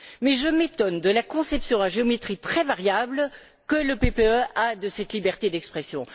Mais je m'étonne de la conception à géométrie très variable que le PPE a de cette liberté d'expression.